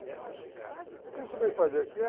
O que tu veio fazer aqui?